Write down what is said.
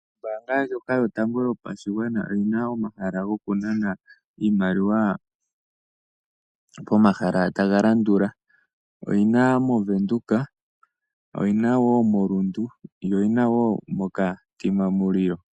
Ombaanga ndjoka yotango yopashigwana oyi na omahala gokunana iimaliwa pomahala taga landula: oyi na mOvenduka, oyi na wo moRundu yo oyi na wo moKatima Mulilo.